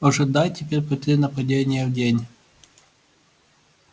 ожидай теперь по три нападения в день